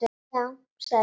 Já, sagði Sveinn.